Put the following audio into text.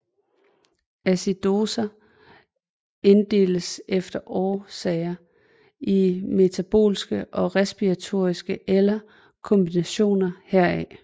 Acidoser inddeles efter årsager i metaboliske og respiratoriske eller kombinationer heraf